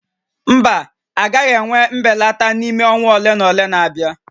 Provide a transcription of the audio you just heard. Mba, a gaghị enwe mbelata n'ime ọnwa ole na ole na-abịa